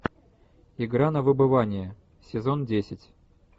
игра на выбывание сезон десять